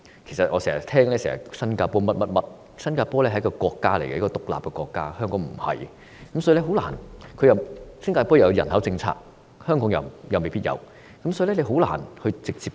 其實，大家經常將新加坡與香港比較，新加坡是一個獨立國家，但香港卻不是；而且新加坡有人口政策，香港又沒有，所以根本難以直接比較。